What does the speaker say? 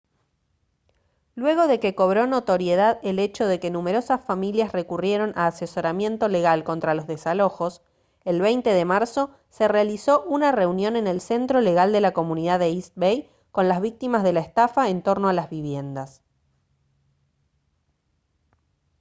luego de que cobró notoriedad el hecho de que numerosas familias recurrieron a asesoramiento legal contra los desalojos el 20 de marzo se realizó una reunión en el centro legal de la comunidad de east bay con las víctimas de la estafa en torno a las viviendas